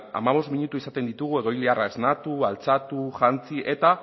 hamabost minutu izaten ditugu egoiliarra esnatu altxatu jantzi eta